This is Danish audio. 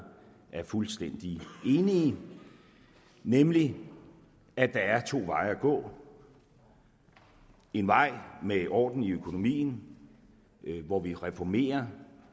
er fuldstændig enige nemlig at der er to veje at gå en vej med orden i økonomien hvor vi reformerer